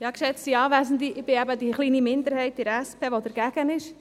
Ich bin eben diese kleine Minderheit in der SP, die dagegen ist.